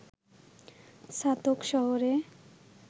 ছাতক শহরে